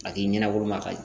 A k'i ɲɛnabolo ma ka